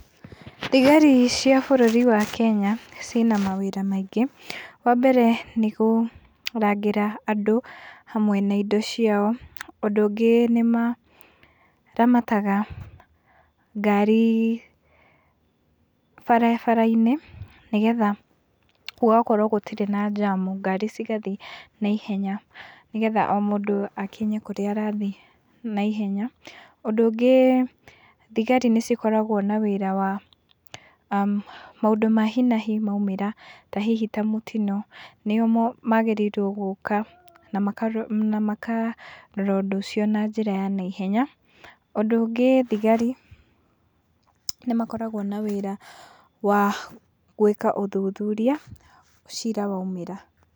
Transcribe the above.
Thigari cia bũrũri wa Kenya ci na mawĩra maingĩ, wa mbere nĩ kũrangĩra andũ, hamwe na indo ciao. Ũndũ ũngĩ nĩ maramataga ngari barabara-inĩ, nĩgetha gũgakorwo gũtirĩ na jamu. Ngari cigathiĩ na ihenya, nĩgetha o mũndũ akinye kũrĩa arathiĩ na ihenya. Ũndũ ũngĩ, thigari nĩ cikoragwo na, maũndũ ma hi na hi maũmĩra, ta hihi ta mũtino, nĩo magĩrĩirwo gũka, na makarora, ũndũ ũcio na njĩra ya na ihenya. Ũndũ ũngĩ thigari nĩ makoragwo na wĩra wa gwĩka ũthuthuria cira waumĩra.